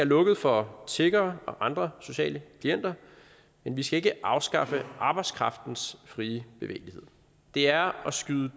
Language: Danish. lukket for tiggere og andre sociale klienter men vi skal ikke afskaffe arbejdskraftens frie bevægelighed det er at skyde